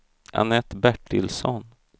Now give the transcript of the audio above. Annette Bertilsson